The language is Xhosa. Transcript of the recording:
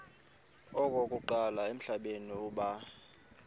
okokuqala emhlabeni uba